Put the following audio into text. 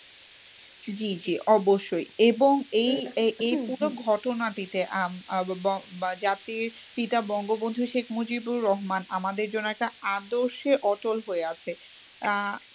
জি জি অবশ্যই এবং এই এ এই পুরো ঘটনটিতে আহ আহ বঙ্গ জাতির পিতা বঙ্গবন্ধু শেখ মুজিবুর রহমান আমাদের জন্য একটা আদর্শে অটল হয়ে আছে, আহ